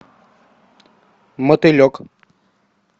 мотылек